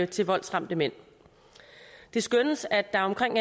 til voldsramte mænd det skønnes at der er omkring